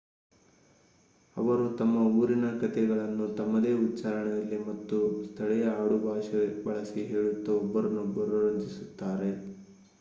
ಅವರು ತಮ್ಮ ಊರಿನ ಕತೆಗಳನ್ನು ತಮ್ಮದೇ ಉಚ್ಚಾರಣೆಯಲ್ಲಿ ಮತ್ತು ಸ್ಥಳೀಯ ಆಡುಭಾಷೆ ಬಳಸಿ ಹೇಳುತ್ತಾ ಒಬ್ಬರನ್ನೊಬ್ಬರು ರಂಜಿಸುತ್ತಿದ್ದಾರೆ